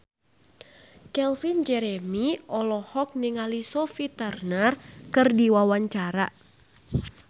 Calvin Jeremy olohok ningali Sophie Turner keur diwawancara